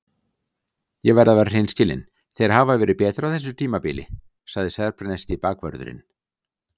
Ég verð að vera hreinskilinn- þeir hafa verið betri á þessu tímabili, sagði serbneski bakvörðurinn.